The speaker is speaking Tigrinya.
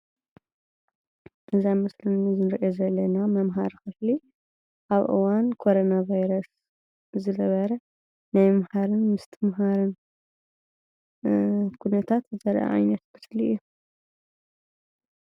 እዚ አብ ምስሊ እንሪኦ ዘለና መምሃሪ ክፍሊ አብ እዋን ኮሮና ቫይረስ ዝነበረ ናይ ምምሃርን ምስትምሃርን ኩነታት ዘርእየና ምሰሊ እዩ፡፡